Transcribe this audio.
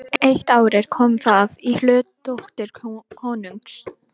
Eitt árið kom það í hlut dóttur konungs.